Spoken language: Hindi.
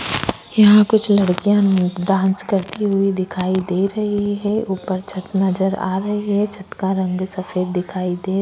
यहाँ कुछ लड़कियां डांस करती हुई दिखाई दे रही है ऊपर छत नज़र आ रही है छत का रंग सफेद दिखाई दे--